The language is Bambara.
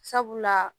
Sabula